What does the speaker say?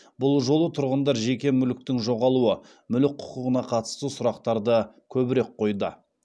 бұл жолы тұрғындар жеке мүліктің жоғалуы мүлік құқығына қатысты сұрақтарды көбірек қойды